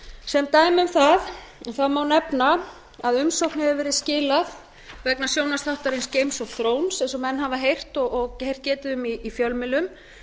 sem dæmi um það má nefna að umsókn hefur verið skilað vegna sjónvarpsþáttarins eins og fróns eins og menn hafa heyrt getið um í fjölmiðlum